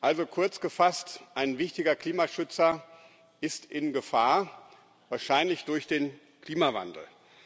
Also kurz gefasst Ein wichtiger Klimaschützer ist in Gefahr, wahrscheinlich durch den Klimawandel.